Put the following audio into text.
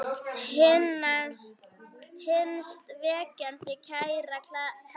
HINSTA KVEÐJA Kæra Kalla mín.